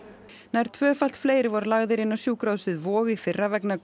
nær tvöfalt fleiri voru lagðir inn á sjúkrahúsið Vog í fyrra vegna